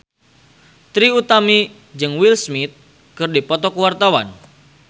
Trie Utami jeung Will Smith keur dipoto ku wartawan